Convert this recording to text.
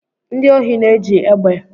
Ndị ohi na-eji egbe